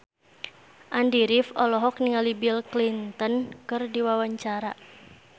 Andy rif olohok ningali Bill Clinton keur diwawancara